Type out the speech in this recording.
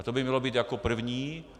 A to by mělo být jako první.